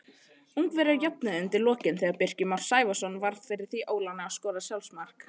Ungverjar jöfnuðu undir lokin þegar Birkir Már Sævarsson varð fyrir því óláni að skora sjálfsmark.